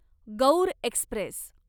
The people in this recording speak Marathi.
गौर एक्स्प्रेस